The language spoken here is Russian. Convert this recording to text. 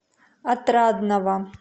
отрадного